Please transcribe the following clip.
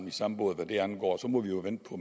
i samme båd hvad det angår så må vi jo vente på